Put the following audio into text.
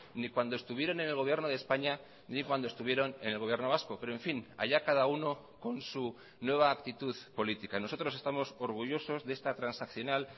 ni cuando estuvieron en el gobierno de españa ni cuando estuvieron en el gobierno vasco pero en fin allá cada uno con su nueva actitud política nosotros estamos orgullosos de esta transaccional